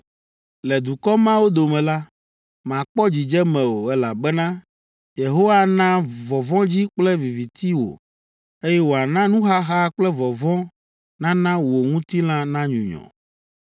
Le dukɔ mawo dome la, màkpɔ dzidzeme o, elabena Yehowa ana vɔvɔ̃dzi kple viviti wò, eye wòana nuxaxa kple vɔvɔ̃ nana wò ŋutilã nanyunyɔ.